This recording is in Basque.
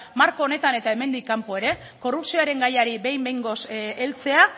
marko honetan eta hemendik kanpo ere korrupzioaren gaiari behin behingoz heltzea